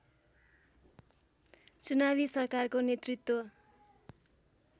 चुनावी सरकारको नेतृत्व